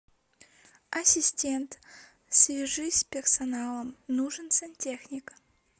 ассистент свяжись с персоналом нужен сантехник